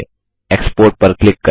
export पर click करें